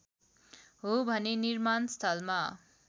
हो भने निर्माणस्थलमा